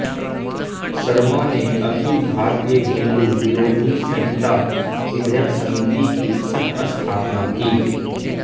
शर्मा ने अखिल भारतीय हिंदू विरोधी संहिता विधेयक समिति की सहस्थापना की